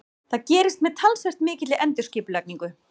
Það gerist með talsvert mikilli endurskipulagningu.